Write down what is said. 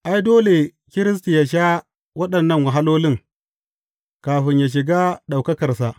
Ai, dole Kiristi yă sha waɗannan wahalolin, kafin yă shiga ɗaukakarsa.